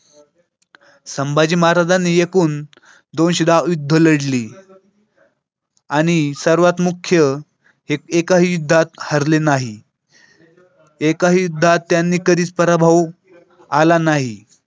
संभाजी महाराजांनी एकूण दोनशे दहा युद्ध लढली आणि सर्वात मुख्य एकाही युद्धात हरले नाही एकाही युद्धात त्यांनी कधीच पराभव आला नाही.